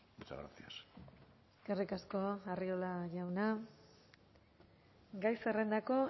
muchas gracias eskerrik asko arriola jauna gai zerrendako